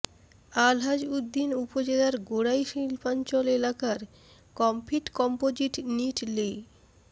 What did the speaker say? আলহাজ উদ্দিন উপজেলার গোড়াই শিল্পাঞ্চল এলাকার কমফিট কম্পোজিট নিট লি